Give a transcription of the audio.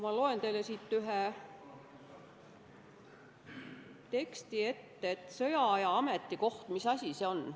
Ma loen teile siit ühe teksti ette, et mis asi see sõjaaja ametikoht on.